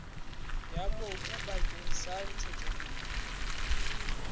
ya mobu bakeng sa ntshetsopele